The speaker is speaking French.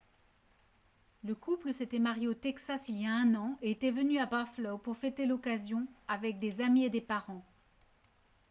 le couple s'était marié au texas il y a un an et était venu à buffalo pour fêter l'occasion avec des amis et des parents